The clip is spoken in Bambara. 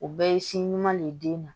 O bɛɛ ye si ɲuman de ye den na